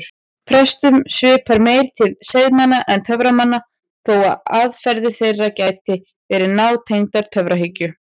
Prestum svipar meir til seiðmanna en töframanna þó að aðferðir þeirra geti verið nátengdar töfrahyggju.